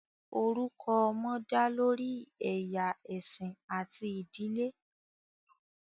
Orukọ ọmọ da lori ẹya, ẹsin ati idile.